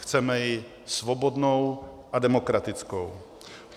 Chceme ji svobodnou a demokratickou.